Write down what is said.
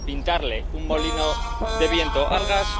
pintarle un molino de viento al gas